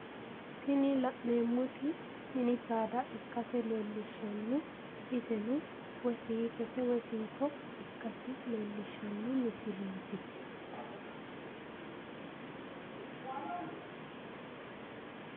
Tini la'neemmoti mini saada ikkase leellishshanno. Iseno woyi siitote woyi siito ikkasi leellishshanno misileeti.